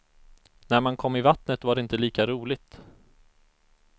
När man kom i vattnet var det inte lika roligt.